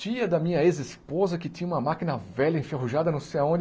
Tia da minha ex-esposa que tinha uma máquina velha, enferrujada, não sei aonde.